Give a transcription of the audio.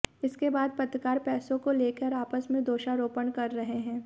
इसके बाद पत्रकार पैसे को लेकर आपस में दोषा रोपण कर रहे हैं